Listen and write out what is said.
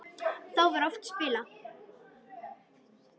Þá var oft spilað.